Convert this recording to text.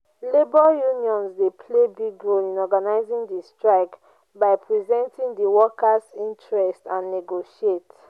labor unions dey play big role in organizing di strike by presenting di workers' interests and negotiate.